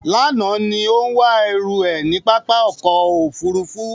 Lánàá ní ó ń wá ẹrú ẹ̀ níbi pápá ọkọ̀ Òfurufú.